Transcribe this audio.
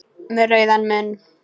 Með rauðan munn.